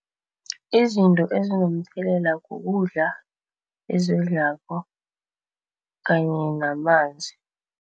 Izinto ezinomthelela kukudla kanye namanzi.